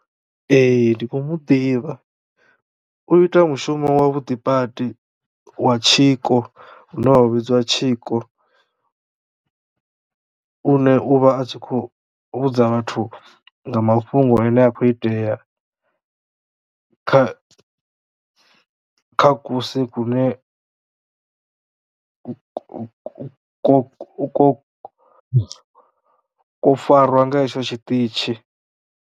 Ee ndi kho mu ḓivha u ita mushumo wa vhuḓi badi wa tshiko une wa vhidzwa tshiko une uvha a tshi khou vhudza vhathu nga mafhungo ane a kho itea kha kha kusi kune ku ko ko ko ko ko farwa nga hetsho tshiṱitshi.